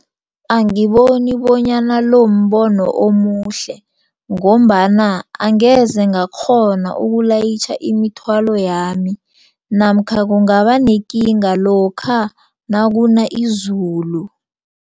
Angiboni bonyana lo mbono omuhle ngombana angeze ngakghona ukulayitjha imithwalo yami namkha kungaba nekinga lokha nakuna izulu.